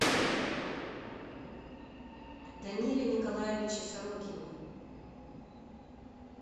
даниле николаевиче сорокине